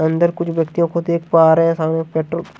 अंदर कुछ व्यक्तियों को देख पा रहे हैं सामने पेट्रोल --